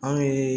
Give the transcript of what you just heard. Anw ye